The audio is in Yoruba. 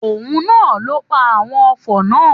Òun na ló pa àwon ofò náà.